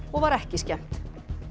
og var ekki skemmt